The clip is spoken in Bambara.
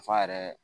Nafa yɛrɛ